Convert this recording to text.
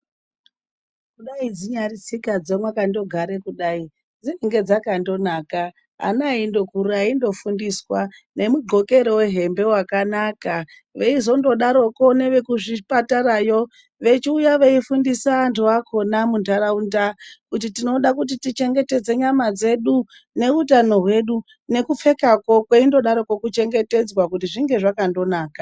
Kudai dzinyari tsika dzakangogara kudai dzinenge dzakangonaka ana endokura endofundiswa nemugqokero wehembe wakanaka veizongodaroko neve kuzvibhedhlera vechiuya veifundisa andu akona mundaraunda kuti tinoda tichengetedza nyama dzedu nehutano hwedu nekupfekako kweingodaro kuchengetedzwa kuti zvinge zvakandonaka.